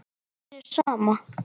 Og mér er sama.